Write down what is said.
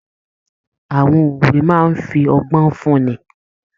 Àwọn òwe máa n fí ọgbọn fún ní.